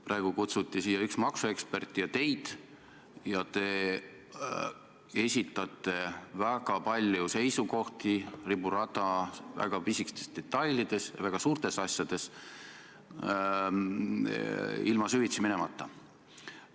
Praegu kutsuti siia üks maksuekspert ja teid ja te esitate väga palju seisukohti riburada väga pisikestes detailides ja väga suurtes asjades süvitsi minemata.